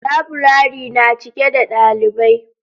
Laburare na cike da dalibai.